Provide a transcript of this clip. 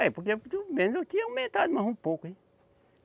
É, porque pelo menos eu tinha aumentado mais um pouco, hein?